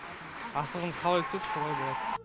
асығымыз қалай түседі солай болады